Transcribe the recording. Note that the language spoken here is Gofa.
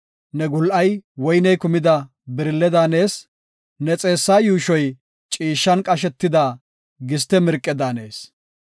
Ne gul7ay woyney kumida birille daanees; ne xeessa yuushoy ciishshan qashetida giste mirqe daanees.